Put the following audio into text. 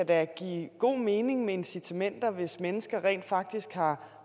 da kan give god mening med incitamenter hvis mennesker rent faktisk har